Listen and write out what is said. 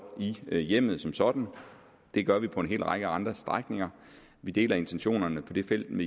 i hjemmet som sådan det gør vi på en række andre strækninger vi deler intentionerne på det felt